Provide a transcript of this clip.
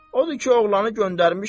Odur ki, oğlanı göndərmişəm.